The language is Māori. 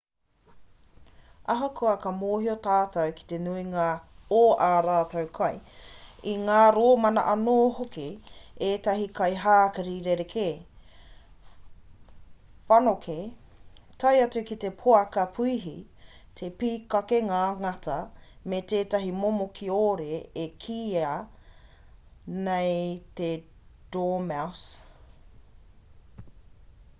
ahakoa ka mōhio tātou ki te nuinga o ā rātou kai i ngā rōmana anō hoki ētahi kai hākari rerekē whanokē tae atu ki te poaka puihi te pīkake ngā ngata me tētahi momo kiore e kīia nei he dormouse